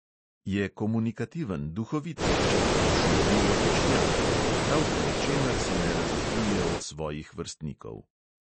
Je komunikativen, duhovit deček, v šoli odličnjak; prav po ničemer se ne razlikuje od svojih vrstnikov.